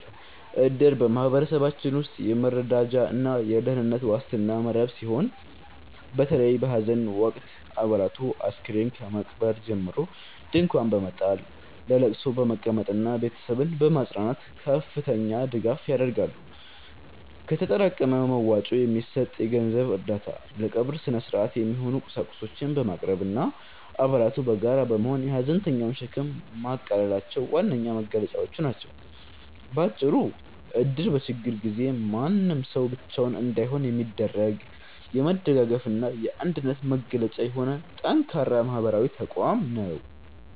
እድር በማኅበረሰባችን ውስጥ የመረዳጃና የደኅንነት ዋስትና መረብ ሲሆን፤ በተለይም በሐዘን ወቅት አባላቱ አስከሬን ከመቅበር ጀምሮ ድንኳን በመጣል፣ ለቅሶ በመቀመጥና ቤተሰብን በማጽናናት ከፍተኛ ድጋፍ ያደርጋሉ። ከተጠራቀመ መዋጮ የሚሰጥ የገንዘብ እርዳታ፣ ለቀብር ሥነ-ሥርዓት የሚሆኑ ቁሳቁሶችን ማቅረብና አባላቱ በጋራ በመሆን የሐዘንተኛውን ሸክም ማቃለላቸው ዋነኛ መገለጫዎቹ ናቸው። ባጭሩ እድር በችግር ጊዜ ማንም ሰው ብቻውን እንዳይሆን የሚያደርግ፣ የመደጋገፍና የአንድነት መገለጫ የሆነ ጠንካራ ማኅበራዊ ተቋም ነው።